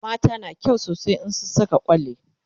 mata na kyau sosai in sun Saka kwalli